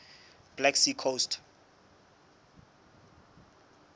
black sea coast